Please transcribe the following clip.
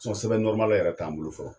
sɛbɛn yɛrɛ t'an bolo fɔlɔ.